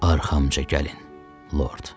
Arxamca gəlin, Lord.